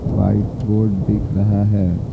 White board दिख रहा है।